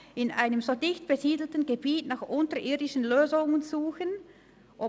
«In einem so dicht besiedelten Gebiet nach unterirdischen Lösungen zu suchen […